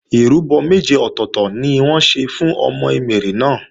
Ìrúbọ méje ọ̀tọ̀tọ̀ ni wọ́n ṣe fún ọmọ Emèrè náà